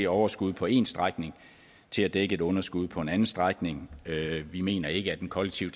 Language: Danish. overskuddet på én strækning til at dække underskuddet på en anden strækning vi mener ikke at den kollektive